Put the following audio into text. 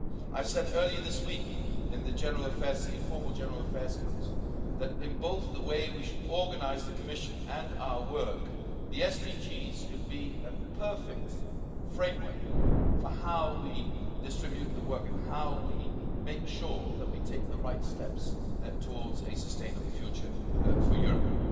for. I said earlier this week in the informal General Affairs Council that, in both the way we should organise the Commission and our work, the SDGs could be a perfect framework for how we distribute the work and how we make sure that we take the right steps towards a sustainable future for Europe.